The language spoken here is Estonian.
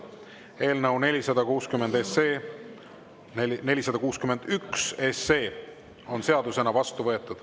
Eelnõu 461 on seadusena vastu võetud.